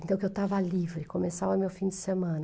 Então, que eu estava livre, começava meu fim de semana.